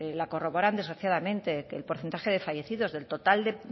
la corroboran desgraciadamente el porcentaje de fallecidos del total de